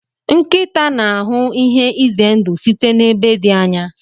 nkịta n'ahụ ihe ize ndụ site n'ebe dị anya.